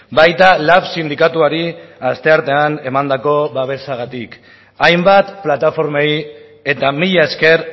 baita lab sindikatuari asteartean emandako babesagatik hainbat plataformei eta mila esker